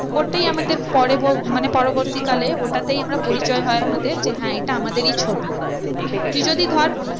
ওটাই আমাদের পরে মানে পরবর্তী কালে ওটাতেই আমরা পরিচয় হয় আমাদের যে হ্যাঁ এটা আমাদেরই ছবি। তুই যদি ধর